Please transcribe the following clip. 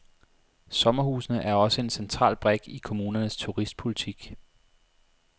Sommerhusene er også en central brik i kommunernes turistpolitik.